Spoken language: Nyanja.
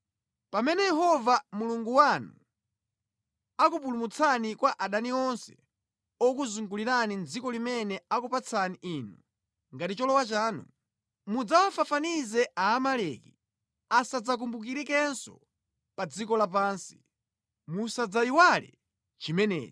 Pamene Yehova Mulungu wanu akupumulitsani kwa adani onse okuzungulirani mʼdziko limene akupatsani inu ngati cholowa chanu, mudzawafafanize Aamaleki, asadzawakumbukirenso pa dziko lapansi. Musadzayiwale chimenechi!